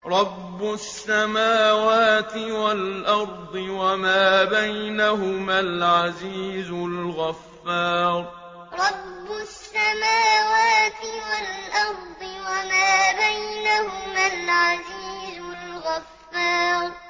رَبُّ السَّمَاوَاتِ وَالْأَرْضِ وَمَا بَيْنَهُمَا الْعَزِيزُ الْغَفَّارُ رَبُّ السَّمَاوَاتِ وَالْأَرْضِ وَمَا بَيْنَهُمَا الْعَزِيزُ الْغَفَّارُ